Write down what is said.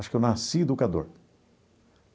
Acho que eu nasci educador.